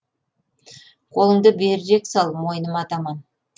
қолыңды берірек сал мойныма таман